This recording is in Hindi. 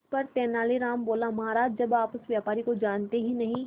इस पर तेनालीराम बोला महाराज जब आप उस व्यापारी को जानते ही नहीं